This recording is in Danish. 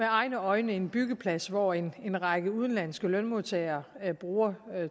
egne øjne en byggeplads hvor en en række udenlandske lønmodtagere bruger